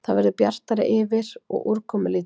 Það verður bjartara yfir og úrkomulítið